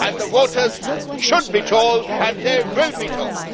Voters should be told, and they will be told.